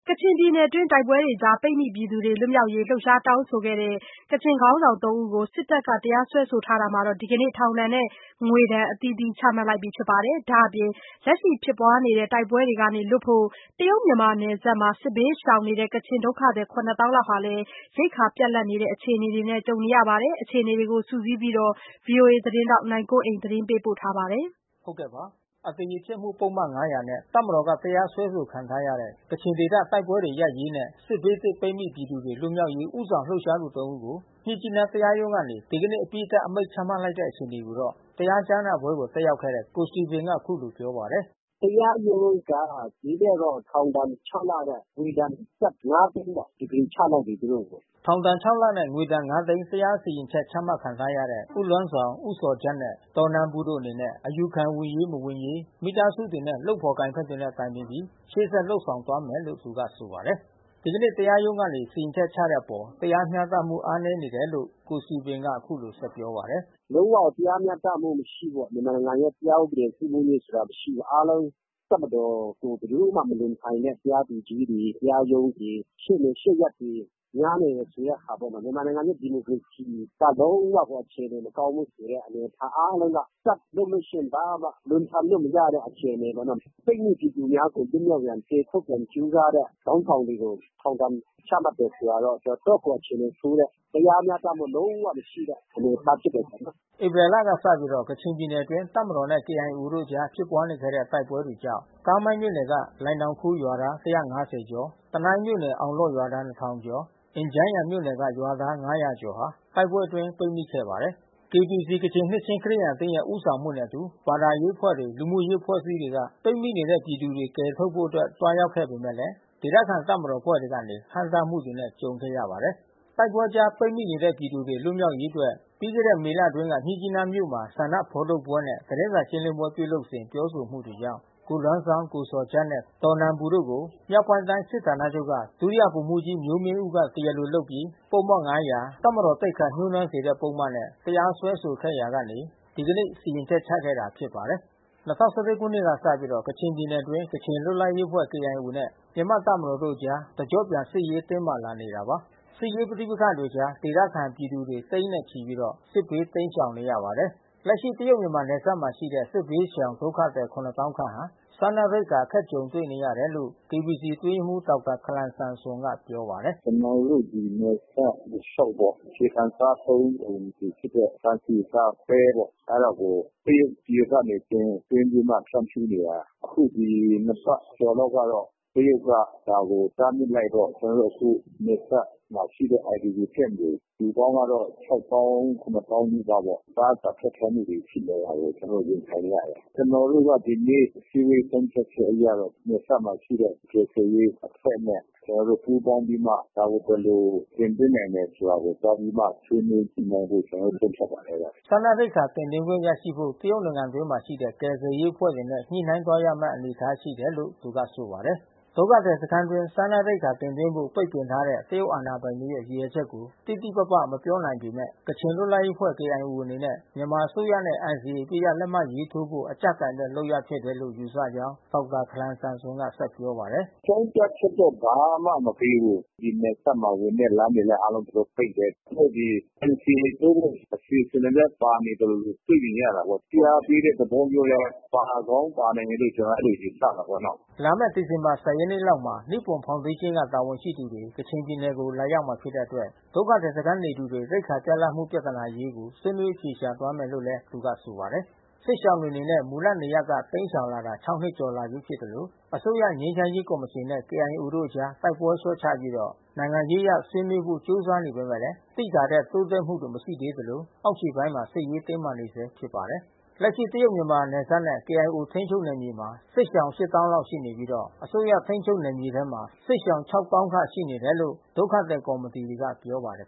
ကချင်ပြည်နယ်တွင်း တိုက်ပွဲတွေကြားမှာ ပိတ်မိနေသူတွေ လွတ်မြောက်ရေး လှုပ်ရှားတောင်းဆိုခဲ့ သူ ခေါင်းဆောင်သုံးဦးကို စစ်တပ်က တရားစွဲဆိုထားတာမှာ ဒီကနေ့ ထောင်ဒဏ်နဲ့ငွေဒဏ် အသီးသီး ချမှတ်လိုက်ပါပြီ။ ဒါ့အပြင် လက်ရှိဖြစ်ပွားနေဆဲ တိုက်ပွဲတွေကနေလွတ်ဖို့ တရုတ်-မြန်မာ နယ်စပ်မှာ စစ်ဘေး ရှောင်နေတဲ့ ဒုက္ခသည်၇သောင်း လောက်ဟာ ရိက္ခာပြတ်လပ်တဲ့ အခြေအနေနဲ့ ရင်ဆိုင်နေရပါတယ်။ ဒီအခြေအနေတွေကို စုစည်းပြီး ဗွီအိုအေ သတင်းထောက် နိုင်ကွန်းအိန်က သတင်းပေးပို့ထားပါတယ်။ အသရေဖျက်မှုပုဒ်မ ၅၀၀ နဲ့ တပ်မတော်က တရားစွဲဆိုခံထားရတဲ့ ကချင်ဒေသတိုက်ပွဲတွေ ရပ်ရေး နဲ့ စစ်ဘေး သင့်ပိတ်မိပြည်သူတွေ လွတ်မြောက်ရေး ဦးဆောင်လှုပ်ရှားသူသုံးဦးကို မြစ်ကြီးနား တရားရုံးကနေ ဒီကနေ့ အပြီးသတ် အမိန့်ချမှတ်လိုက်တဲ့အခြေအနေကိုတော့ တရားကြားနာပွဲကို တက်ရောက်ခဲ့တဲ့ ကိုစတီဗင်က ပြောပါတယ်။ “တရားရုံးက ဒီနေ့တော့ ထောင်ဒဏ် လနဲ့ ငွေဒဏ်ကျပ် သိန်းပေါ့။ စီရင်ချလိုက်ပြီ။ သူတို့ကို။” ထောင်ဒဏ် လနဲ့ငွေဒဏ် သိန်း တရားစီရင်ချက်ချမှတ်ခံထားရတဲ့ ဦးလွမ်းဇောင်၊ ဦးဇော်ဂျတ်နဲ့ ဒေါ်နန်ပူတို့အနေနဲ့အယူခံဝင်ရေးမဝင်ရေး မိသားစုတွေနဲ့လုပ်ဖေါ်ကိုင်ဖက်တွေနဲ့ တိုင်ပင်ပြီး ရှေ့ဆက် လုပ်ဆောင်သွားမယ်လို့ သူကဆိုပါတယ်။ ဒီကနေ့တရားရုံးကနေစီရင်ချက်ချတဲ့အပေါ် တရားမျှတမှုအားနည်းနေတယ်လို့လည်း ကိုစတီဗင်က အခုလို ဆက်ပြောပါတယ်။ “လုံးဝကိုတရားမျှတမှုမရှိဘူးပေါ့။ မြန်မာနိုင်ငံရဲ့တရားဥပဒေစိုးမိုးရေးဆိုတာ မရှိဘူး။ အားလုံး တပ်မတော်ကို ဘယ်သူမှ မလွန်ဆန်တဲ့ တရားသူကြီးတွေ၊ တရားရုံးတွေ၊ ရှေ့နေရှေ့ရပ်တွေ များနေတယ်ဆိုတဲ့ဟာပေါ့နော်။ မြန်မာနိုင်ငံရဲ့ ဒီမိုကရေစီ လုံးဝအခြေအနေမကောင်းဘူးဆိုတဲ့ အားလုံးက တပ်လုပ်လို့ရှိရင် ဘာမှ လွန်ဆန်လို့ မရတဲ့ အခြေအနေပေါ့နော။ ပိတ်မိပြည်သူများကို လွတ်မြောက်ရန် ကယ်ထုတ်ရန် ကြိုးစားတဲ့ခေါင်းဆောင်တွေကို ထောင်ဒဏ်ချမှတ်တယ် ဆိုတာတော့ တော်တော့ကိုအခြေအနေဆိုးတဲ့၊ တရားမျှတမှုလုံးဝမရှိတဲ့ အနေအထားပေါ့နော။” ဧပြီလကစပြီး ကချင်ပြည်နယ်အတွင်း တပ်မတော်နဲ့ ကေအိုင်အေတို့အကြား ဖြစ်ပွားနေတဲ့ တိုက်ပွဲတွေ ကြောင့် ကာမိုင်းမြို့နယ် ကလိုင်နောင်ခူးရွာသား ကျော်၊ တနိုင်းမြို့နယ်၊ အောင်လော့ဒ်ရွာသား ကျော်၊ အင်ဂျန်းယန်မြို့နယ်က ရွာသား ကျော် ဟာ တိုက်ပွဲအတွင်း ပိတ်မိနေခဲ့ပါတယ်။ KBC ကချင်နှစ်ချင်းခရစ်ယာန်အသင်းရဲ့ ဦးဆောင်မှုနဲ့အတူ ဘာသာရေးအဖွဲ့တွေ၊ လူမှုရေးအဖွဲ့ အစည်းတွေ က ပိတ်မိနေတဲ့ ပြည်သူတွေကို ကယ်ထုတ်ဖို့ သွားရောက်ခဲ့ပေမယ့် ဒေသခံ တပ်မတော်အဖွဲ့ကနေ ဟန့်တားမှု တွေနဲ့ကြုံနေရပါတယ်။ တိုက်ပွဲကြားပိတ်မိနေတဲ့ပြည်သူတွေ လွတ်မြောက်ရေးအတွက် ပြီးခဲ့တဲ့မေလအတွင်း က မြစ်ကြီးနားမြို့မှာ ဆန္ဒ ထုတ်ဖော်ပွဲနဲ့သတင်းစာရှင်းလင်းပွဲ ပြုလုပ်စဉ် ပြောဆိုမှုတွေကြောင့် ကိုလွမ်းဇောင်း ၊ ကိုဇော်ဂျတ် နှင့် ဒေါ်နန်ပူ တို့ကို မြောက်ပိုင်းတိုင်းစစ်ဌာနချုပ်က ဒုတိယဗိုလ်မှူးကြီး မျိုးမင်းဦးက တရားလိုလုပ်ပြီး ပုဒ်မ ၅၀၀ တပ်မတော် သိက္ခာ ညှိုးနွမ်းစေမှုပုဒ်မနဲ့ တရားစွဲဆိုခဲ့ ရာကနေ ဒီကနေ့စီရင်ချက်ချခဲ့တာဖြစ်ပါတယ်။ ၂၀၁၁ ခုနှစ်ကစပြီး ကချင်ပြည်နယ်အတွင်း ကချင်လွတ်လပ်ရေးအဖွဲ့ KIO နဲ့ မြန်မာ့တပ်မတော်တို့ အကြား တကျော့ပြန် စစ်ရေးတင်းမာလာနေတာပါ။ စစ်ရေးပဋိပက္ခအကြား ဒေသခံပြည်သူတွေ သိန်းနဲ့ချီပြီး စစ်ဘေး တိမ်းရှောင်နေရပါတယ်။ လက်ရှိတရုတ်-မြန်မာနယ်စပ်မှာရှိနေတဲ့ စစ်ဘေးရှောင်ဒုက္ခသည် သောင်းခန့်ဟာ စားနပ်ရိက္ခာ အခက်ကြုံ တွေ့နေရတယ်လို့ KBC အတွင်းရေးမှူး ဒေါက်တာခလန်ဆမ်ဆွန်က ပြောပါတယ်။ “ကျနော်တို့ ဒီနယ်စပ်တလျှောက်ပေါ့။ အခြေခံစားသုံးကုန်ဖြစ်တဲ့ ဆန်၊ ဆီ၊ ဆား၊ ပဲ ပေါ့။ အဲတာကို တရုတ်ပြည် ကနေ တင်သွင်းပြီးမှ ဖြန့်ဖြူးနေတာ။ အခု ဒီနှစ်ပတ်ကျော်လောက်ကတော့ တရုတ်က ဒါကို တားမြစ်လိုက်တော့ အခုနယ်စပ်မှာရှိတဲ့ IDP ကမ့်တွေ - လူပေါင်းကတော့ သောင်း သောင်းနီးပါးပေါ့။ အစားအစာခက်ခဲလာ တာကို ကျနော်တို့ရင်ဆိုင်နေရတယ်။ ကျနော်တို့က ဒီနေ့ အစည်းအဝေးဆုံးဖြတ်ချက်အရတော့ နယ်စပ်မှာရှိတဲ့ ကယ်ဆယ်ရေးအဖွဲ့နဲ့ ကျနော်တို့ပူးပေါင်းပြီးမှ ဒါကိုဘယ်လို တင်သွင်းနိုင်မယ်ဆိုတာကို သွားပြီးမှ ဆွေး နွေးညှိနှိုင်းဖို့ ကျနော် ဆုံးဖြတ်ပါတယ်။” စားနပ်ရိက္ခာတင်သွင်းခွင့်ရရှိဖို့ တရုတ်နိုင်ငံတွင်းမှာရှိတဲ့ ကယ်ဆယ်ရေးအဖွဲ့တွေနဲ့ ညှိနှိုင်းသွားမယ့် အနေအထားရှိတယ်လို့ သူကဆိုပါတယ်။ ဒုက္ခသည်စခမ်းအတွင်းစားနပ်ရိက္ခာတင်သွင်းဖို့ ပိတ်ပင်ထားတဲ့ တရုတ်အာဏာပိုင်တွေရဲ့ ရည်ရွယ်ချက်ကို တိတိပပ မပြောနိုင်ပေမယ့် ကချင်လွတ်လပ်ရေးအဖွဲ့ KIO အနေနဲ့ မြန်မာအစိုးရနဲ့ NCA အပစ်ရပ်လက်မှတ် ထိုးဖို့ အကြပ်ကိုင်တဲ့လုပ်ရပ်ဖြစ်တယ်လို့ယူဆကြောင်း ဒေါက်တာခလန် ဆမ်ဆွန်က ဆက်ပြောပါတယ်။ “အကြောင်းပြချက်တော့ဘာမှမပေးဘူး။ ဒီနယ်စပ်ကဝင်တဲ့လမ်းတွေအားလုံး သူတို့ ပိတ်တယ်။ သူတို့ ဒီ NCA ထိုးဖို့ အစီအစဉ်တွေလည်း ပါနေသလိုလို တွေ့နေရတာပေါ့။ ဖိအားပေးတဲ့ သဘောမျိုးလည်း ပါကောင်းပါနိုင် မယ်လို့ ကျနော်တို့ အဲဒီလိုယူဆတာပေါ့နော။” လာမယ့် ဒီဇင်ဘာ ရက်နေ့လောက်မှာ နိပွန်ဖေါင်ဒေးရှင်းကတာဝန်ရှိသူတွေ ကချင်ပြည်နယ် ကို လာရောက်မှာ ဖြစ်တဲ့အတွက် ဒုက္ခသည်စခမ်းနေသူတွေရိက္ခာပြတ်လပ်မှုပြဿနာအရေးကို ဆွေးနွေးအဖြေရှာ သွားမယ်လို့လည်း သူကဆိုပါတယ်။ စစ်ရှောင်တွေအနေနဲ့ မူလနေရပ်ကနေတိမ်းရှောင်လာရတာ နှစ် ကျော်လာပြီဖြစ်သလို အစိုးရ ငြိမ်းချမ်းရေး ကော်မရှင်နဲ့ KIO တို့အကြား တိုက်ပွဲလျှော့ချပြီး နိုင်ငံရေးအရဆွေးနွေးဖို့ ကြိုးစားနေ ကြပေမယ့် သိသာတဲ့ တိုးတက်မှုတွေမရှိသေးသလို အောက်ခြေပိုင်းမှာ စစ်ရေးတင်းမာနေဆဲ ဖြစ်ပါတယ်။ လက်ရှိတရုတ်-မြန်မာနယ်စပ်နဲ့ KIO ထိန်းချုပ်နယ်မြေမှာ စစ်ရှောင် သောင်းခန့် ရှိနေပြီး အစိုးရထိန်းချုပ် နယ်မြေမှာ စစ်ရှောင် သောင်းခန့်ရှိနေတယ်လို့ဒုက္ခသည်ကော်မီတီတွေက ပြောပါတယ်